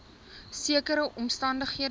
sekere omstan dighede